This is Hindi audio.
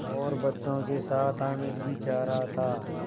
और बच्चों के साथ हामिद भी जा रहा था